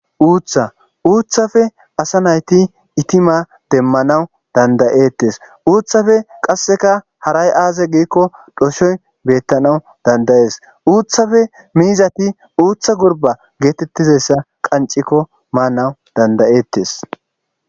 Uutha uuthafe asa nayti itima demmanawu dandayettes uuthafe qasseka haray aaze giikko dhoshoy beettanaw dandayees uuthafe miizati uutha gorba geetettizayssa qancikko maanawu dandayettes.